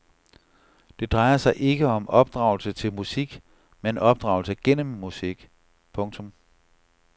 Det drejer sig ikke om opdragelse til musik men opdragelse gennem musik. punktum